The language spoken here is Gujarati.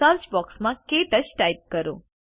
સર્ચ બોક્સમાં ક્ટચ ટાઇપ કરો